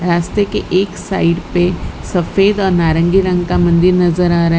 रास्ते के एक साइड पे सफेद और नारंगी रंग का मंदिर नजर आ रहा है।